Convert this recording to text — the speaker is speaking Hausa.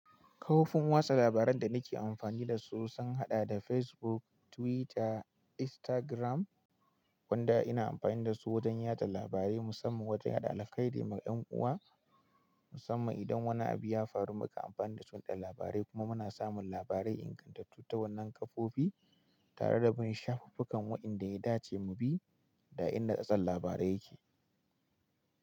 Kofin watsa labaran da nake amfani da su sun haɗa da Facebook, Twitter, Instagram, wanda ina amfani da su wajen yada labarai musamman wajen yaɗa alkhairi ma ƴan uwa musamman idan wani abu ya faru muka amfani dasu mu ɗau labarai kuma muna samun labarai ingantattu ta wannan kafofi tare da bin shafufukan waɗanda ya dace mu bi da inda tsattsan labarai yake.